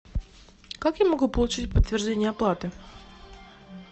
как я могу получить подтверждение оплаты